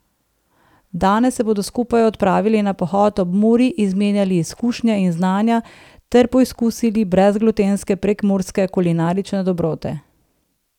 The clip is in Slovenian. Danes se bodo skupaj odpravili na pohod ob Muri, izmenjali izkušnje in znanja ter poizkusili brezglutenske prekmurske kulinarične dobrote.